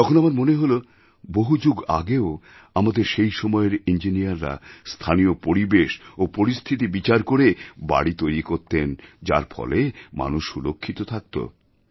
তখন আমার মনে হল বহু যুগ আগেও আমাদের সেই সময়ের ইঞ্জিনিয়াররা স্থানীয় পরিবেশ ও পরিস্থিতি বিচার করে বাড়ি তৈরি করতেন যার ফলে মানুষ সুরক্ষিত থাকত